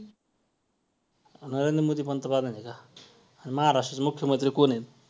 गुंतवणुकीत सुरू करू शकता अ म्हणजे किंवा त्यातून थोडीशी काय idea idea पण भेटू शकते